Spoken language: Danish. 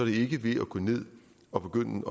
ikke ved at gå ned og begynde